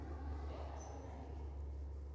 ge a se na le